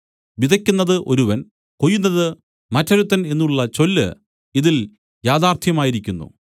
വിതയ്ക്കുന്നത് ഒരുവൻ കൊയ്യുന്നത് മറ്റൊരുത്തൻ എന്നുള്ള ചൊല്ല് ഇതിൽ യാഥാർത്ഥ്യമായിരിക്കുന്നു